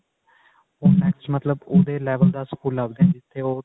ਉਹ next ਮਤਲਬ ਉਹਦੇ level ਦਾ ਸਕੂਲ ਲੱਭਦੇ ਨੇ ਜਿੱਥੇ ਉਹ